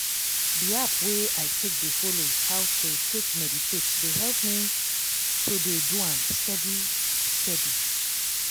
di app wey i take dey follow how to take meditate dey help me to dey do am steadiy steady.